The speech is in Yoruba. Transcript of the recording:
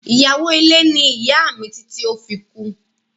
Iyawo ile ni iya mi titi o fi kú.